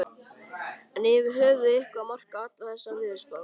Er yfir höfuð eitthvað að marka allar þessar veðurspár?